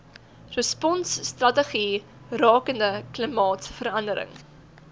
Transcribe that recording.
responsstrategie rakende klimaatsverandering